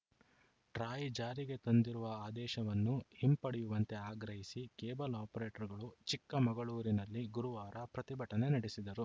TRAI ಜಾರಿಗೆ ತಂದಿರುವ ಆದೇಶವನ್ನು ಹಿಂಪಡೆಯುವಂತೆ ಆಗ್ರಹಿಸಿ ಕೇಬಲ್‌ ಆಪರೇಟರ್‌ಗಳು ಚಿಕ್ಕಮಗಳೂರಿನಲ್ಲಿ ಗುರುವಾರ ಪ್ರತಿಭಟನೆ ನಡೆಸಿದರು